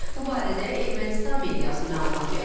Bu barədə Ermənistan mediası məlumat yayıb.